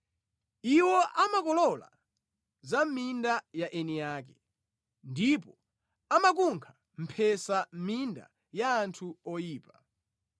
Iwo amakolola za mʼminda ya eni ake, ndipo amakunkha mphesa mʼminda ya anthu oyipa.